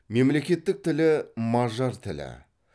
мемлекеттік тілі мажар тілі